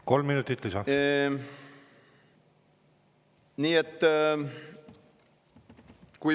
Kolm minutit lisa.